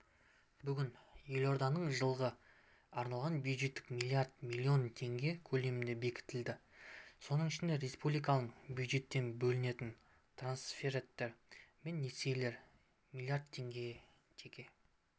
бүгін елорданың жылға арналған бюджеті млрд млн теңге көлемінде бекітілді соның ішінде республикалық бюджеттен бөлінетін трансферттер мен несиелер млрд теңге жеке